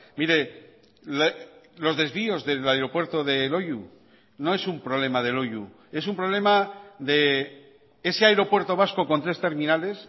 mire los desvíos del aeropuerto de loiu no es un problema de loiu es un problema de ese aeropuerto vasco con tres terminales